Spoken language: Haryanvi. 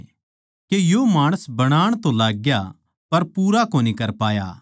के यो माणस बनाण तो लाग्या पर पूरा कोनी कर पाया